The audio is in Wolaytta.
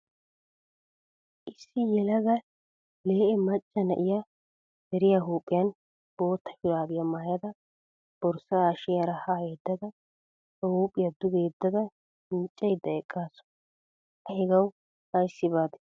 Issi yelaga lee'e macca na'iya deriya huuphiyan bootta shuraabiya maayada borsaa hashiyaara ha yeddada ba huuphiya duge yeddada miiccayidda eqqaasu. A hegawu ayssi baade?